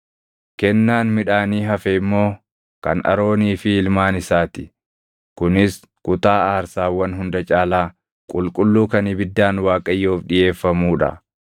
Kennaan midhaanii hafe immoo kan Aroonii fi ilmaan isaa ti; kunis kutaa aarsaawwan hunda caalaa qulqulluu kan ibiddaan Waaqayyoof dhiʼeeffamuu dha.